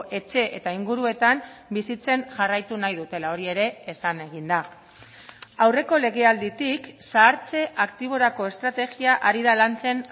etxe eta inguruetan bizitzen jarraitu nahi dutela hori ere esan egin da aurreko legealditik zahartze aktiborako estrategia ari da lantzen